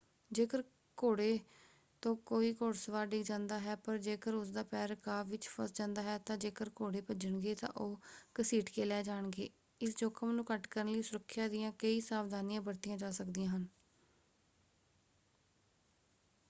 ਜੇਕਰ ਘੋੜੇ ਤੋਂ ਕੋਈ ਘੋੜਸਵਾਰ ਡਿੱਗ ਜਾਂਦਾ ਹੈ ਪਰ ਜੇਕਰ ਉਸਦਾ ਪੈਰ ਰਕਾਬ ਵਿੱਚ ਫਸ ਜਾਂਦਾ ਹੈ ਤਾਂ ਜੇਕਰ ਘੋੜੇ ਭੱਜਣਗੇ ਤਾਂ ਉਹ ਘਸੀਟ ਕੇ ਲੈ ਜਾਣਗੇ। ਇਸ ਜੋਖ਼ਮ ਨੂੰ ਘੱਟ ਕਰਨ ਲਈ ਸੁਰੱਖਿਆ ਦੀਆਂ ਕਈ ਸਾਵਧਾਨੀਆਂ ਵਰਤੀਆਂ ਜਾ ਸਕਦੀਆਂ ਹਨ।